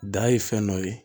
Da ye fɛn dɔ ye